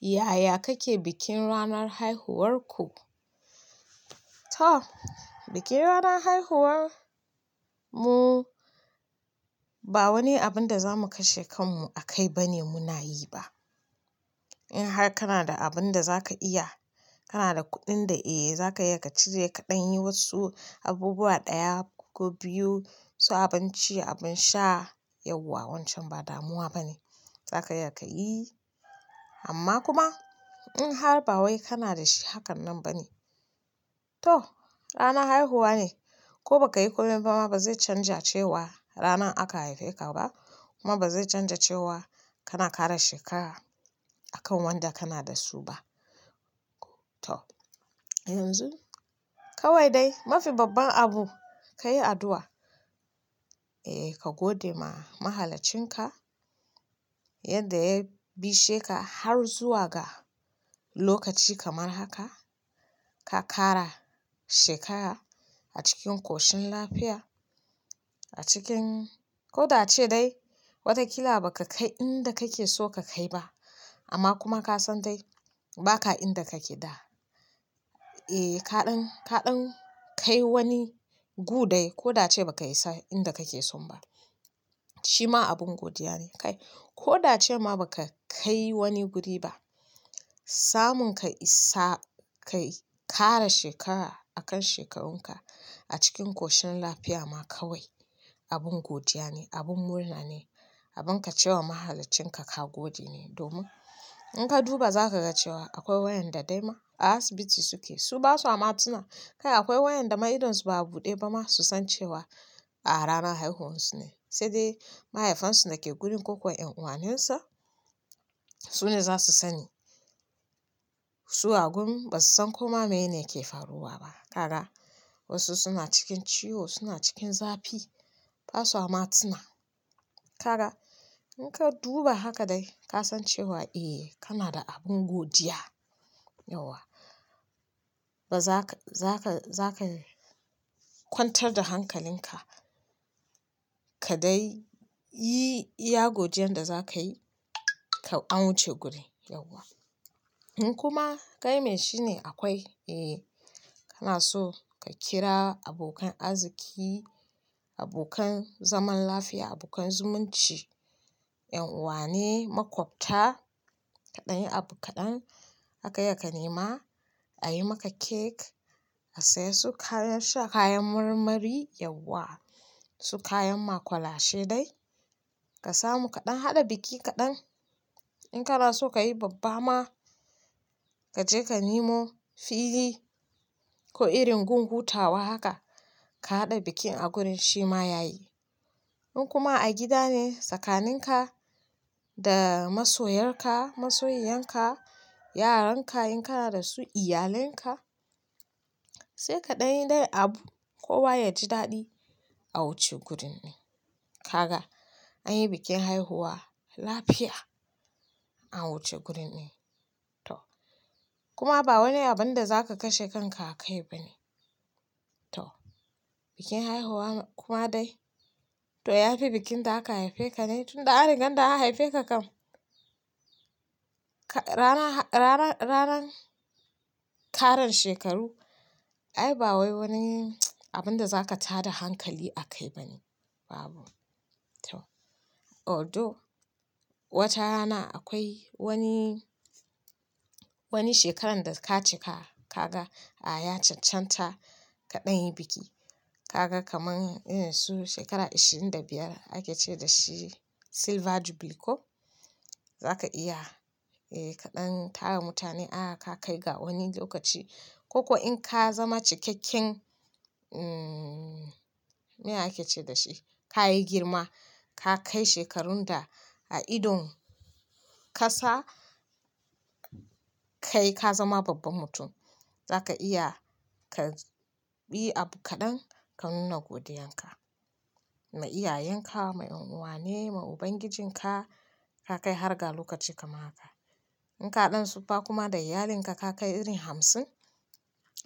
Yaya kake bikin ranar haihuwarku? To, bikin ranar haihuwar mu ba wani abun da za mu kashe kanmu akai ba ne muna yi ba. In har kana da abin da za ka iya, kana da kuɗin da za ka iya ka cire kaɗan, yi wasu abubuwa ɗaya ko biyu, su abinci, abin sha, yauwa wancan ba damuwa ba ne. Za ka iya ka yi, amma kuma in har ba wai kana da shi hakan nan ba ne, to ranan haihuwa ne, ko ba ka yi kulun ba ma ba zai canja cewa rana aka haife ka ba, kuma ba zai canja cewa kana ƙara shekara a kan wanda kana da su ba. To yanzu kawai dai mafi babban abu ka yi addu'a, eh ka gode ma mahalacin ka yadda ya bishe ka har zuwa ga lokaci kamar haka, ka ƙara shekara a cikin ƙoshin lafiya, a cikin, ko da ace dai wata kila ba ka kai inda kake so ka kai ba, amma kuma ka san dai ba ka inda kake da. Eh, kaɗan, kaɗan kai wani gu dai ko da ace ba ka isa inda kake so ba. Shi ma abin godiya ne kai, ko da ace ma ba ka kai wani guri ba, samun ka isa, ka ƙara shekara a kan shekarunka a cikin ƙoshin lafiya ma kawai abin godiya ne, abin murna ne, abin ka ce wa mahalacin ka ka gode ne. Domin in ka duba za ka ga cewa akwai wayanda dai ma a asibiti suke, su ba su amatuna. Kai akwai wayanda ma idonsu ba a buɗe ba ma su san cewa a rana haihuwarsu ne, sai dai mahaifansu da ke gurin ko kuwa ƴan uwanensa su ne za su sani. Su a gun ba su san komai me ne ke faruwa ba. Kaga wasu suna cikin ciwo, suna cikin zafi, ba su wa matuna. Kaga in ka duba haka dai ka san cewa eh kana da abin godiya, yauwa. Ba za ka, za ka, za ka kwantar da hankalin ka ka dai yi iya godiyar da za ka yi ka an wuce guri, yauwa. In kuma kai mai shi ne akwai, eh kana so ka kira abokan arziki, abokan zaman lafiya, abokan zumunci, ƴan uwa ne, maƙwabta, kaɗan yi abu kaɗan, aka iya ka nema a yi maka cake, a saya su kayan sha, kayan marmari, yauwa, su kayan maƙwalashe dai. Ka samu kaɗan, haɗa biki kaɗan. In kana so ka yi babba ma, ka je ka nemo fili ko irin gun hutawa haka, ka haɗa bikin a gurin shi ma ya yi. In kuma a gida ne tsakanin ka da masoyar ka, masoyiyan ka, yaran ka in kana da su, iyalan ka, sai kaɗan yi dai abu kowa ya ji daɗi a wuce gurin din. Kaga an yi bikin haihuwa lafiya a wuce gurin din. To, kuma ba wani abun da za ka kashe kanka akai ba ne. To, bikin haihuwa kuma dai to ya fi bikin da aka haife ka ne, tun da a ringan da aka haife ka kam. Ranar, ranar, ranar ƙaran shekaru ai ba wai wani abun da za ka tada hankali akai ba ne, babu. To, although wata rana akwai wani, wani shekaran da ka cika ka ga a ya cancanta kaɗan yi biki, ka ga kamar irin su shekara ashirin da biyar ake ce da shi silver jubilee ko, za ka iya eh kaɗan tara mutane ah ka kai ga wani lokaci. Ko kuwa in ka zama cikakken, umm, me ake ce da shi? Ka yi girma, ka kai shekarun da a idon ƙasa kai ka zama babban mutum, za ka iya ka bi abu kaɗan ka nuna godiyar ka. Ma iyayen ka, ma ƴan uwa ne, ma Ubangijin ka, ka kai harga lokaci kamar haka. In kaɗan siffa kuma da iyalin ka, ka kai irin hamsin,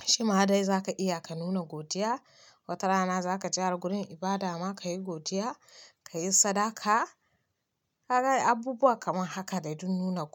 shi ma dai za ka iya ka nuna godiya. Wata rana za ka gyara gurin ibada ma, ka yi godiya, ka yi sadaka, ka kai abubuwa kamar haka dai don nuna godiya.